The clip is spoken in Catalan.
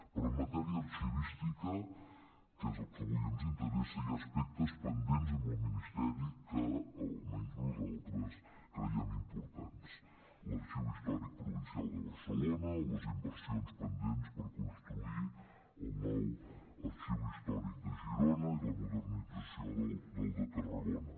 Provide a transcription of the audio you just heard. però en matèria arxivística que és el que avui ens interessa hi ha aspectes pendents amb el ministeri que almenys nosaltres creiem importants l’arxiu històric provincial de barcelona les inversions pendents per construir el nou arxiu històric de girona i la modernització del de tarragona